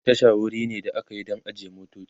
Tasha wuri ne da akayi Dan ajiyan motoci